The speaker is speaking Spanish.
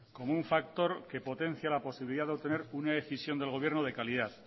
como un factor que potencia la posibilidad de obtener una decisión del gobierno de calidad